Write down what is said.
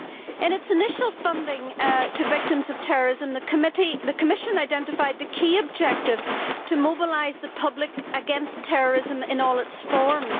In its initial funding to victims of terrorism, the Commission identified the key objective to mobilise the public against terrorism in all its forms.